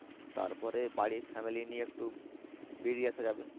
তারপরে বাড়ির family নিয়ে একটু বেরিয়ে আসা যাবে।